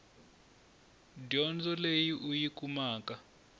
dyondzo leyi u yi kumaka